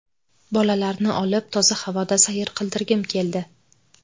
Bolalarni olib toza havoda sayr qildirgim keldi.